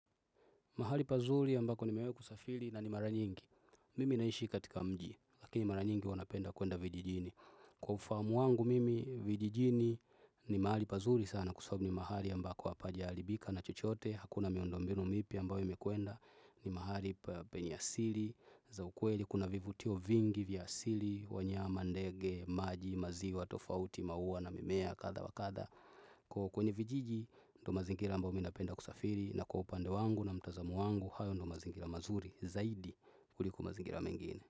Mahali pazuri ambako ni mewe kusafili na ni mara nyingi. Mimi naishi katika mji, lakini mara nyingi wanapenda kuenda vijijini. Kwa ufamu wangu mimi, vijijini ni mahali pazuri sana kusobabu ni mahali ambako wapaja alibika na chochoote. Hakuna miondo mbino mipi ambawe mekuenda ni mahali penyasili. Za ukweli kuna vivutio vingi vyasili, wanyama, ndege, maji, maziwa, tofauti, maua na mimea, katha wa katha. Kwa kwenye vijiji ndo mazingira ambao mi napenda kusafiri na kwa upande wangu na mtazamo wangu hayo ndo mazingira mazuri zaidi kuliko mazingira mengine.